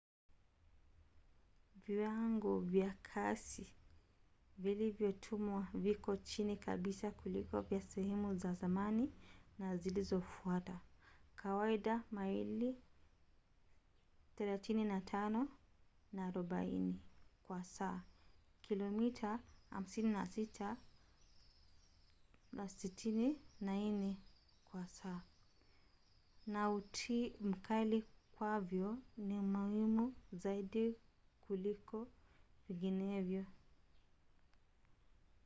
viwango vya kasi vilivyotumwa viko chini kabisa kuliko vya sehemu za zamani na zilizofuata — kawaida maili 35-40 kwa saa kilomita 56-64 kwa saa — na utii mkali kwavyo ni muhimu zaidi kuliko vinginevyo